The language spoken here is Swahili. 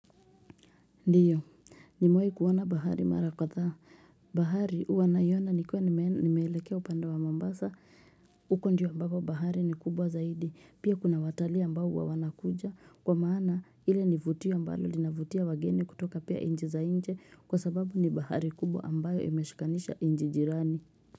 Ndiyo. Nimewai kuona bahari mara katha. Hhh bahari uwa naiona nikuwa nimeelekea upanda wa mambasa. Huko njuwa baba bahari ni kubwa zaidi. Pia kuna watali ambao uwa wanakuja kwa maana ile nivutio ambalo linavutia wageni kutoka pia inji za inje kwa sababu ni bahari kubwa ambayo imeshikanisha inji jirani.